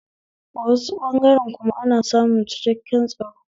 A wasu ɓangaren kuma ana samun ciakkaken tsaro